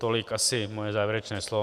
Tolik asi moje závěrečné slovo.